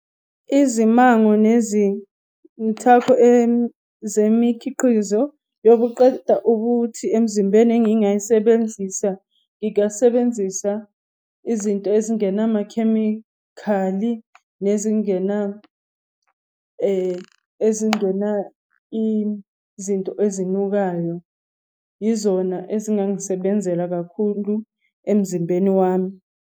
Izimango nezithako zemikhiqizo yokuqeda ubuthi emzimbeni engingayisebenzisa, ngingasebenzisa izinto ezingena makamakhemikhali. Nezingena ezingena izinto ezinukayo. Yizona ezingangisebenzela kakhulu emzimbeni wami.